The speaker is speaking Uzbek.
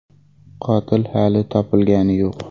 Qotil hali topilgani yo‘q.